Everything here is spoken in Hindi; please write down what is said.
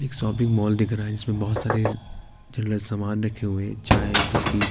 इक शॉपिंग मॉल दिख रहा है जिसमें बहोत सारे जनरल समान रखें हुए है चाय बिस्कीट ।